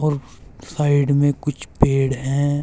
Side में कुछ पेड़ है।